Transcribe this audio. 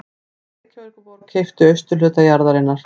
Reykjavíkurborg keypti austurhluta jarðarinnar